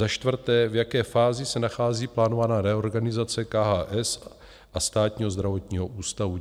Za čtvrté, v jaké fázi se nachází plánovaná reorganizace KHS a Státního zdravotního ústavu?